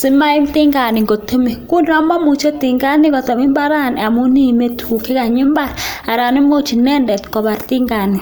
simaim tinget ngotemisye, ngo ndomomuche tingani kotem mbarani amun iime tuguk chekanyi mbarani komuch kobar tingani.